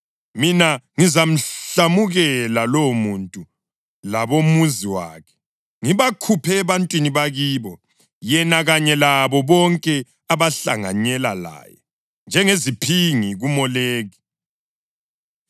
mina ngizamhlamukela lowomuntu labomuzi wakhe, ngibakhuphe ebantwini bakibo, yena kanye labo bonke abahlanganyela laye njengeziphingi kuMoleki.